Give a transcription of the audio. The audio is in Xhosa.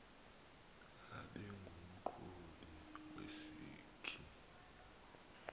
abe ngumqhubi wesikhi